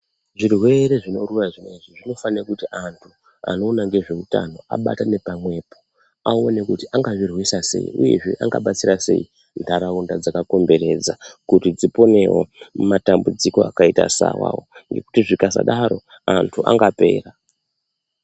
Zvirwere zvinoruwa zvinezvi zvinofanire kuti antu anoona ngezve utano abatane pamwepo aone kuti anga zvirwisa sei uyezve anga batsira sei ndaraunda dzaka komberedza kuti dziponewo mu matambudziko akaita se awawo ngekuti zvikasadaro antu anga pera.